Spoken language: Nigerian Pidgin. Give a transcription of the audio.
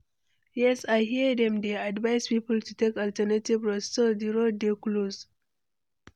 Yes, i hear dem dey advise people to take alternative route, say di road dey close.